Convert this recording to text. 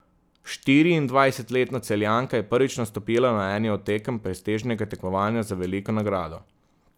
Štiriindvajsetletna Celjanka je prvič nastopila na eni od tekem prestižnega tekmovanja za veliko nagrado.